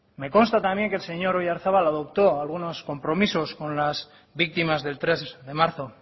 me consta también que el señor oyarzabal adoptó algunos compromisos con las víctimas del tres de marzo